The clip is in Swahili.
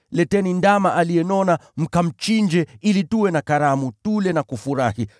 Leteni ndama aliyenona, mkamchinje ili tuwe na karamu, tule na kufurahi.